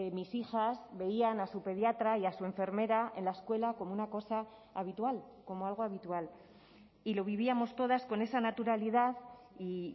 mis hijas veían a su pediatra y a su enfermera en la escuela como una cosa habitual como algo habitual y lo vivíamos todas con esa naturalidad y